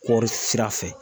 Kɔɔri sira fɛ